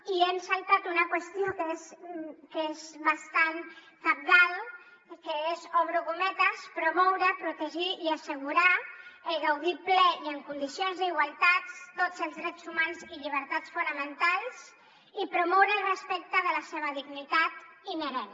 i ens hem saltat una qüestió que és bastant cabdal que és obro cometes promoure protegir i assegurar el gaudi ple i en condicions d’igualtat de tots els drets humans i llibertats fonamentals i promoure el respecte de la seva dignitat inherent